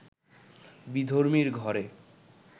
বিধর্মীর ঘরে